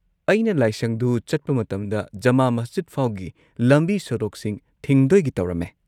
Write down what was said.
ꯑꯩꯅ ꯂꯥꯏꯁꯪꯗꯨ ꯆꯠꯄ ꯃꯇꯝꯗ ꯖꯃꯥ ꯃꯁꯖꯤꯗꯐꯥꯎꯒꯤ ꯂꯝꯕꯤ-ꯁꯣꯔꯣꯛꯁꯤꯡ ꯊꯤꯡꯗꯣꯢꯒꯤ ꯇꯧꯔꯝꯃꯦ꯫